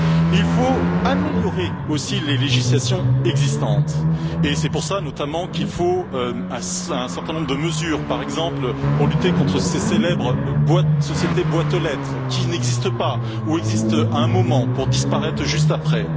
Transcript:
Il faut améliorer aussi les législations existantes et c'est pour cela, notamment, qu'il faut un certain nombre de mesures, par exemple pour lutter contre ces célèbres sociétés boîtes aux lettres qui n'existent pas, ou existent à un moment pour disparaître juste après.